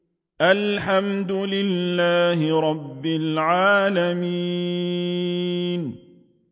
الْحَمْدُ لِلَّهِ رَبِّ الْعَالَمِينَ